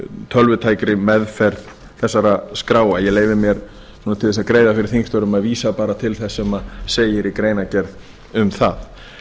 tölvutækri meðferð þeirra skráa ég leyfi mér til þess að greiða fyrir þingstörfum að vísa bara til þess sem segir í greinargerð um það